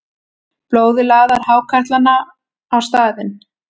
Blóðið laðar hákarlana á staðinn.